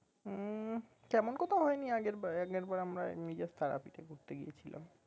উম তেমন কোথাও হয়নি আগেরবার আগেরবার আমরা এমনি just তারাপীঠে ঘুরতে গিয়ে ছিলাম